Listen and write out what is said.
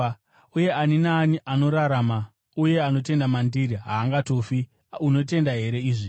uye ani naani anorarama uye anotenda mandiri haangatongofi. Unotenda here izvi?”